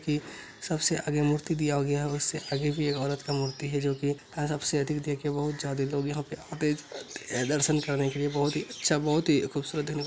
सबसे आगे मूर्ति दिया गया उससे आगे भी एक औरत का मूर्ति है जो कि सबसे अधिक देखे बहुत ज्यादा लोग यहाँ पे आके दर्शन करने के लिए बहुत ही अच्छा बहुत ही खूबसूरत--